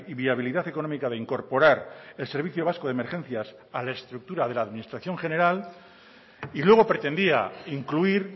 viabilidad económica de incorporar el servicio vasco de emergencias a la estructura de la administración general y luego pretendía incluir